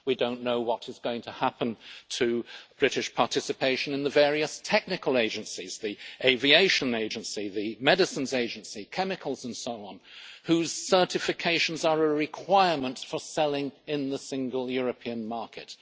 We do not know what is going to happen to British participation in the various technical agencies the Aviation Agency, the Medicines Agency, chemicals and so on, whose certifications are a requirement for selling in the single European market.